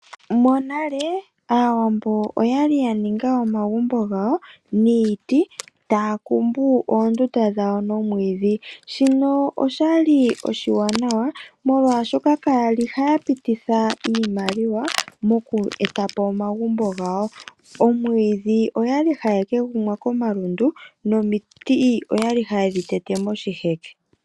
Monale, aawambo oya li ya ninga omagumbo gawo niiti, taya kumbu oondunda dhawo nomwiidhi. Shino oshali oshiwanawa molwaashoka shoka kaya li haya pititha iimaliwa moku eta po omagumbo gawo. Omwiidhi oya li haye ke gumwa komalundu nomiti oya li haye dhi tete moshiheke.